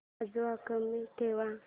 आवाज कमी ठेवा